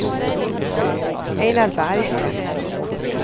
Ejnar Bergsten